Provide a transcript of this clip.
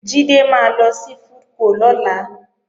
Jídé máa lọ sí FoodCo lọ́la